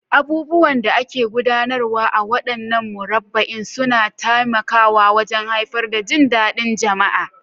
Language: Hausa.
Abubuwan da ake gudanarwa a waɗannan murabba'in suna taimakawa wajen haifar da jin daɗin jama'a.